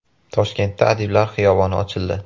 Toshkentda Adiblar xiyoboni ochildi .